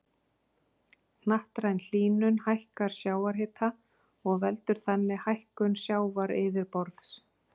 Hnattræn hlýnun hækkar sjávarhita og veldur þannig hækkun sjávaryfirborðs.